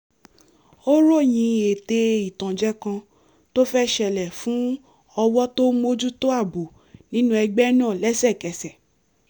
ó ròyìn ète ìtànjẹ kan tó fẹ́ ṣẹlẹ̀ fún ọwọ́ tó ń mójútó ààbò nínú ẹgbẹ́ náà lẹ́sẹ̀kẹsẹ̀